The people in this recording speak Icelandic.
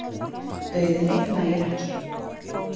Dauðinn einn nægir ekki.